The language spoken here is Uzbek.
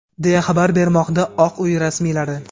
deya xabar bermoqda Oq uy rasmiylari.